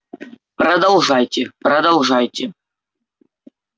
продолжайте продолжайте